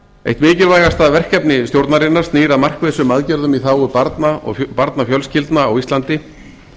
eitt mikilvægasta verkefni stjórnarinnar snýr að markvissum aðgerðum í þágu barna og barnafjölskyldna á íslandi